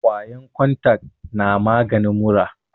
kwayan kontak na maganin mura